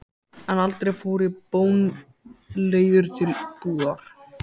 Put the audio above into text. En aldrei fór ég bónleiður til búðar.